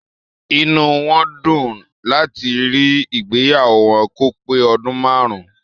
Inú wọn dùn láti rí ìgbéyàwó wọn kò pé ọdún máàrún.